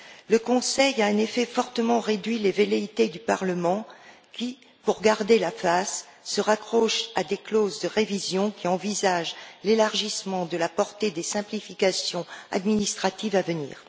Le Conseil a, en effet, fortement réduit les velléités du Parlement qui, pour garder la face, se raccroche à des clauses de révision qui envisagent l'élargissement de la portée des simplifications administratives à venir.